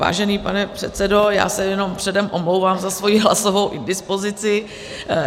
Vážený pane předsedo, já se jenom předem omlouvám za svoji hlasovou indispozici.